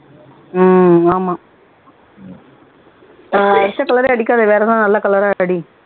உம் ஆமா ஆஹ் அடிச்ச colour ஏ அடிக்காத வேற ஏதாவது நல்ல colour ஆ அடி